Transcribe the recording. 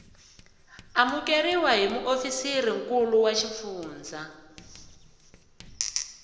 amukeriwa hi muofisirinkulu wa xifundzha